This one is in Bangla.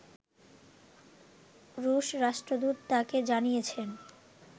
রুশ রাষ্ট্রদূত তাকে জানিয়েছেন